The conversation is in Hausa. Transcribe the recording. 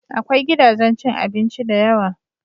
Akwai gidajen cin abinci da yawa